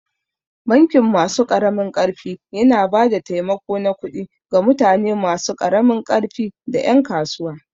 Bankin masu ƙaramin ƙarfi yana ba da taimako na kudi ga mutane masu karamin ƙarfi da ƴan kasuwa.